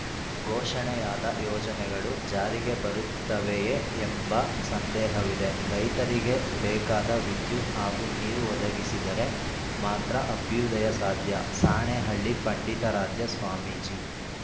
ಘೋಷಣೆಯಾದ ಯೋಜನೆಗಳು ಜಾರಿಗೆ ಬರುತ್ತವೆಯೇ ಎಂಬ ಸಂದೇಹವಿದೆ ರೈತರಿಗೆ ಬೇಕಾದ ವಿದ್ಯುತ್‌ ಹಾಗೂ ನೀರು ಒದಗಿಸಿದರೆ ಮಾತ್ರ ಅಭ್ಯುದಯ ಸಾಧ್ಯ ಸಾಣೇಹಳ್ಳಿ ಪಂಡಿತಾರಾಧ್ಯ ಸ್ವಾಮೀಜಿ